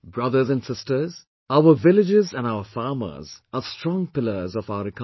Brothers and sisters, our villages and our farmers are strong pillars of our economy